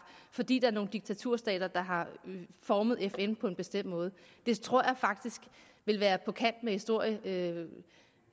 fordi der er nogle diktaturstater der har formet fn på en bestemt måde det tror jeg faktisk vil være på kant med den historiske